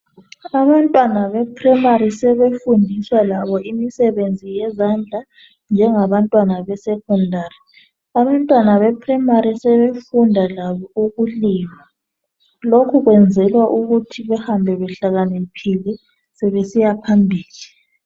abantwana be primary sebefundiswa labo imisebenzi yezandla njengabantwana be secondary abantwana be primary sebefunda labo ukulima lokhu kwenzelwa ukuthi behambe behlakaniphile sebesiya phambili